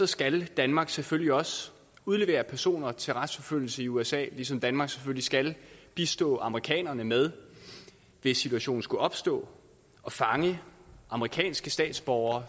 skal danmark selvfølgelig også udlevere personer til retsforfølgelse i usa ligesom danmark selvfølgelig skal bistå amerikanerne med hvis situationen skulle opstå at fange amerikanske statsborgere